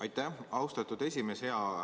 Aitäh, austatud esimees!